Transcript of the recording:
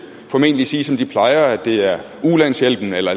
formentlig sige som de plejer nemlig at det er ulandshjælpen eller